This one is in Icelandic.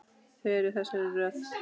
Þau eru í þessari röð